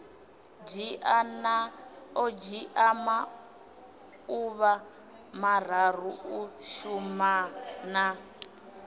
dzhia maḓuvha mararu u shumana